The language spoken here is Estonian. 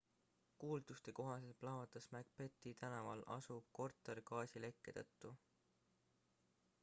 kuulduste kohaselt plahvatas macbethi tänaval asuv korter gaasilekke tõttu